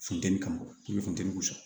Funteni kama i be funteni kɔ